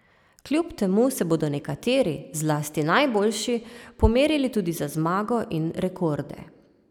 Kljub temu se bodo nekateri, zlasti najboljši, pomerili tudi za zmago in rekorde.